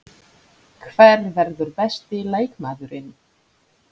Hver verður besti leikmaðurinn?